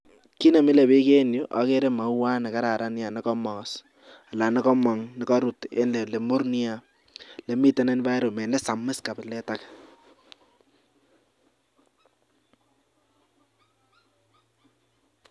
Kit nemile bik en Yu agere mauwat nekararan neia akokamas ak nikamnag nikarut akomur Nia nemiten environment nesamis kabilet age